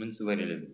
மின் சுவரில்